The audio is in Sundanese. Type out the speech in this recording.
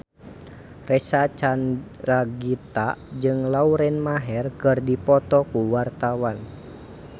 Reysa Chandragitta jeung Lauren Maher keur dipoto ku wartawan